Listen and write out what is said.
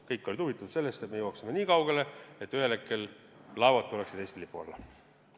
Kõik olid huvitatud sellest, et me jõuaksime nii kaugele, et ühel hetkel tuleksid laevad Eesti lipu alla.